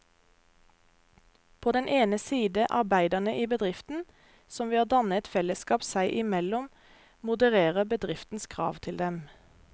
På den ene side arbeiderne i bedriften, som ved å danne et fellesskap seg imellom modererer bedriftens krav til dem.